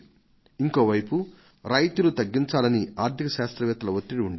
ఇంకో వైపు రాయితీలు తగ్గించాలని ఆర్థిక శాస్త్రవేత్తల ఒత్తిడి ఉండేది